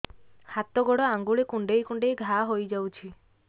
ହାତ ଗୋଡ଼ ଆଂଗୁଳି କୁଂଡେଇ କୁଂଡେଇ ଘାଆ ହୋଇଯାଉଛି